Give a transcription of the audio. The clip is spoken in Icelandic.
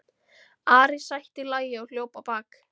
Ari sætti lagi og hljóp á bak.